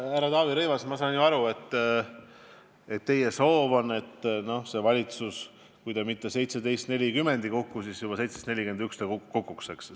Härra Taavi Rõivas, ma saan aru, et teie soov on, et see valitsus, kui ta mitte 17.40 ei kuku, siis juba 17.41 ta kukuks, eks ole.